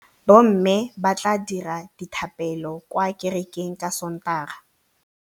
Bommê ba tla dira dithapêlô kwa kerekeng ka Sontaga.